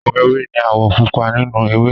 Àwọ̀ ewé ni àwọ̀ púpọ̀ nínú ewé